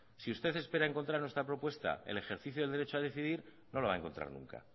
si usted espera encontrar en nuestra propuesta el ejercicio del derecho a decidir no lo va a encontrar nunca